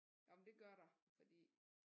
Ah men det gør der fordi